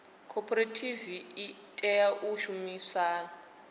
khophorethivi i tea u shumisana